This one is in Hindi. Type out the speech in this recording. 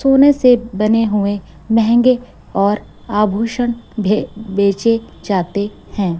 सोने से बने हुए महंगे और आभूषण भे बेचे जाते हैं।